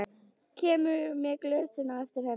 Kemur með glösin á eftir henni.